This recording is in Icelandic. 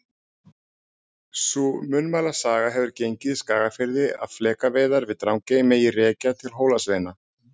Sú munnmælasaga hefur gengið í Skagafirði að flekaveiðar við Drangey megi rekja til Hólasveina.